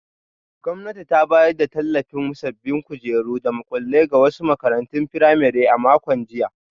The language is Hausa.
Gwamnati ta bayar da tallafin sabbin kujeru da makullai ga wasu makarantun firamare a makon jiya.